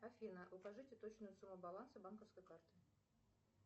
афина укажите точную сумму баланса банковской карты